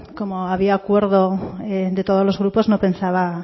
como había acuerdo de todos los grupos no pensaba